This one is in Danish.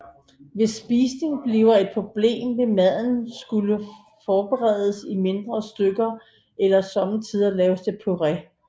Hvis spisning bliver et problem vil maden skulle forberedes i mindre stykker eller somme tider laves til puré